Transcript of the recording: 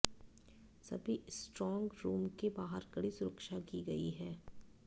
सभी strong room के बाहर कड़ी सुरक्षा की गई है